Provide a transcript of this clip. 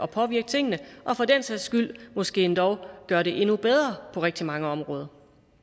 påvirke tingene og for den sags skyld måske endog gøre det endnu bedre på rigtig mange områder